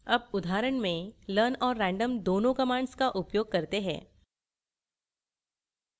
अब उदाहरण में learn और random दोनों commands का उपयोग करते हैं